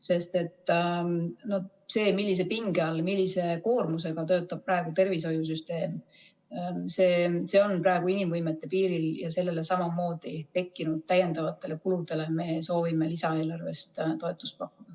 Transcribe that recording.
Sest see, millise pinge all, millise koormusega töötab praegu tervishoiusüsteem, see on praegu inimvõimete piiril ja seal tekkinud täiendavatele kuludele me soovime samamoodi lisaeelarvest toetust pakkuda.